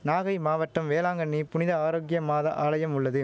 நாகை மாவட்டம் வேளாங்கண்ணி புனித ஆரோக்கிய மாதா ஆலயம் உள்ளது